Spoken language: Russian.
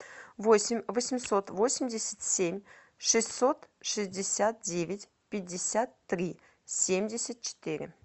восемь восемьсот восемьдесят семь шестьсот шестьдесят девять пятьдесят три семьдесят четыре